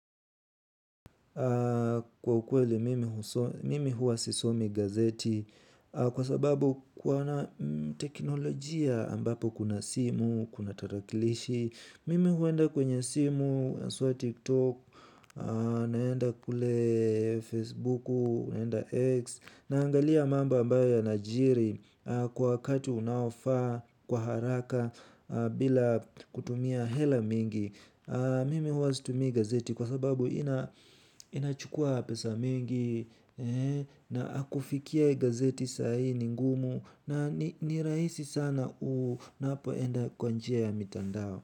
Kwa ukweli mimi huwa sisomi gazeti kwa sababu kuna teknolojia ambapo kuna simu, kuna tarakilishi, mimi huenda kwenye simu, haswa TikTok, naenda kule Facebooku, naenda X. Naangalia mambo ambayo yanajiri kwa wakati unaofaa kwa haraka bila kutumia hela mingi. Mimi huwa situmii gazeti kwa sababu inachukua pesa mingi na akufikiae gazeti saa hii ni ngumu na ni rahisi sana unapoenda kwa njia ya mitandao.